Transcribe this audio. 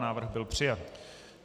Návrh byl přijat.